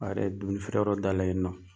A yɛrɛ ye dumuni feere yɔrɔ dayɛlɛ yen nɔn.